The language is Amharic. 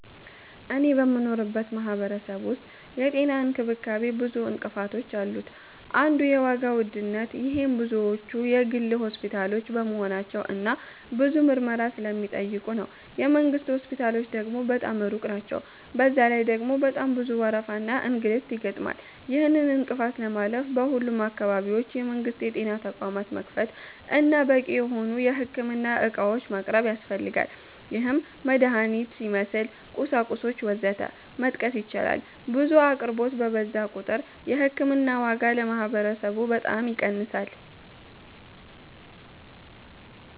እኔ በምኖርበት ማህበረሰብ ዉስጥ የጤና እንክብካቤ ብዙ እንቅፋቶች አሉት አንዱ የዋጋ ዉድነት -ይሄም ብዙዎቹ የግል ሆስፒታሎች በመሆናቸው እና ብዙ ምርመራ ስለሚጠይቁ ነው። የ መንግስት ሆስፒታሎች ደግሞ በጣም ሩቅ ናቸዉ፤ በዛ ላይ ደግሞ በጣም ብዙ ወረፋና እንግልት ይገጥማል። ይህንን እንቅፋት ለማለፍ በሁሉም አካባቢዎች የመንግስት የጤና ተቋማት መክፈት እና በቂ የሆኑ የህክምና ዕቃዎችን ማቅረብ ያስፈልጋል -ይህም መድሀኒትን ይመስል፣ ቁሳቁሶች ወዘተ መጥቀስ ይቻላል። 2. ብዙ አቅርቦት በበዛ ቁጥር የ ህክምና ዋጋ ለማህበረሰቡ በጣም ይቀንሳል።